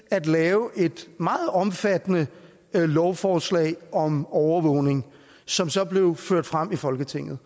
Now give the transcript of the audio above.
at lave et meget omfattende lovforslag om overvågning som så blev ført frem i folketinget